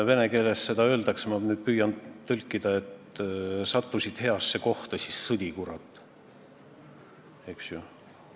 Vene keeles öeldakse – ma nüüd püüan tõlkida –, et sattusid heasse kohta, siis sõdi, kurat!